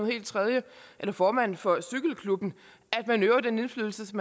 helt tredje eller formand for cykelklubben at man øver den indflydelse